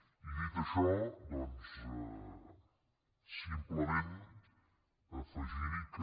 i dit això doncs simplement afegirhi que